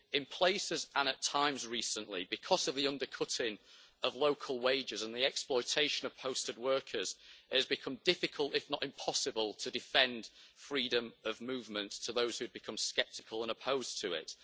In places and at times recently, because of the undercutting of local wages and the exploitation of posted workers, it has become difficult, if not impossible, to defend freedom of movement to those who have become sceptical and opposed to it.